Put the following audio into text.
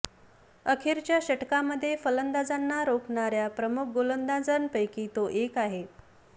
अखेरच्या षटकांमध्ये फलंदाजांना रोखणाऱ्या प्रमुख गोलंदाजांपैकी तो एक आहे